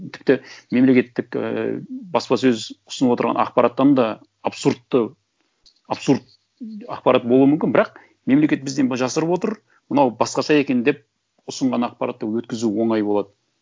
тіпті мемлекеттік ііі баспасөз ұсынып отырған ақпараттан да абсурдты абсурд ақпарат болуы мүмкін бірақ мемлекет бізден жасырып отыр мынау басқаша екен деп ұсынған ақпаратты өткізу оңай болады